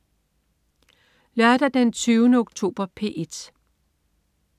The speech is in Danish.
Lørdag den 20. oktober - P1: